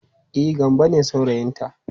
E, Gambo ne saurayinta.